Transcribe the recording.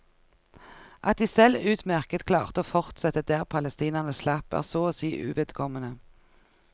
At de selv utmerket klarte å fortsette der palestinerne slapp, er så å si uvedkommende.